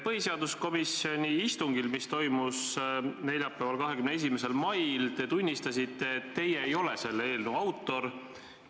Põhiseaduskomisjoni istungil, mis toimus neljapäeval, 21. mail, te tunnistasite, et teie ei ole selle eelnõu autor.